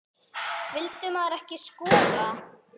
Vildi maðurinn ekki skora?